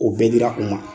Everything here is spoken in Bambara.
O bɛɛ dira u ma